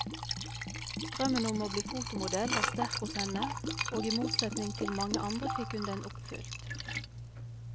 Drømmen om å bli fotomodell var sterk hos henne, og i motsetning til mange andre fikk hun den oppfylt.